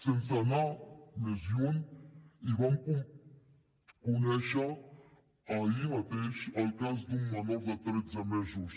sense anar més lluny vam conèixer ahir mateix el cas d’un menor de tretze mesos